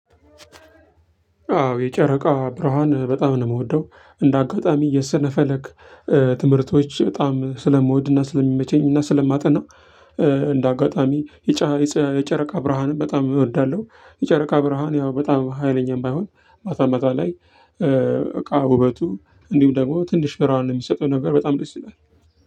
አዎ የጨረቃ ብርሃን በጣም ነው የምወደው። እንደ አጋጣሚ የሰነፈለግ ትምህርቶች በጣም ስለምወድና ስለሚመቸኝና ስለማጠና እንደ አጋጣሚ የጫ የጨ የጨረቃ ብርሃንም በጣም እወዳለሁ። የጨረቃ ብርሃን ያው በጣም ሀይለኛም ባይሆን ማታ ማታ ላይ እቃ ውበቱ እንዲሁም ደግሞ ትንሽ ብርሃን የሚሰጠው ነገር በጣም ደስ ይላል።